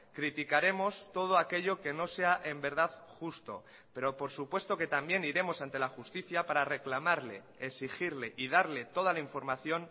criticaremos todo aquello que no sea en verdad justo pero por supuesto que también iremos ante la justicia para reclamarle exigirle y darle toda la información